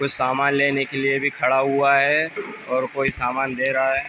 कुछ सामान लेने के लिए भी खड़ा हुआ है और कोई सामान ले रहा है।